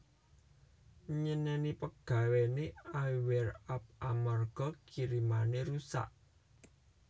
Nyeneni pegawene I Wear Up amarga kirimane rusak